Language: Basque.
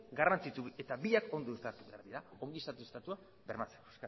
garrantzitsu eta biak ondo behar dira ongizate estatua bermatzeko